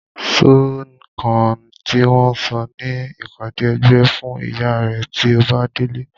Sọ nǹkan tí wọ́n sọ ní ìpàdé ẹgbẹ́ fún ìyá rẹ tí o bá délé.